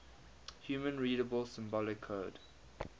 human readable symbolic code